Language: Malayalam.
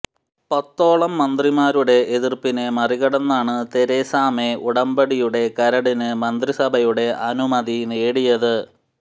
പത്തോളം മന്ത്രിമാരുടെ എതിര്പ്പിനെ മറികടന്നാണ് തെരേസ മേ ഉടമ്പടിയുടെ കരടിന് മന്ത്രിസഭയുടെ അനുമതി നേടിയത്